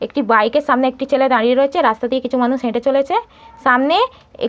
একটি বাইক -এর সামনে একটি ছেলে দাঁড়িয়ে রয়েছে রাস্তা দিয়ে কিছু মানুষ হেটে চলেছে। সামনে এক--